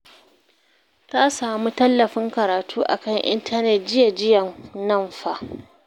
Ta samu tallafin karatu a kan intanet jiya jiyan nan fa